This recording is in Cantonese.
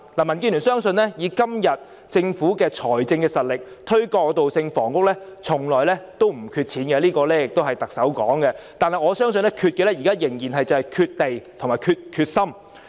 民建聯相信，以今天政府的財政實力，不會缺乏金錢推動過渡性房屋，這是特首說的，但我相信現在欠缺的仍然是土地和決心。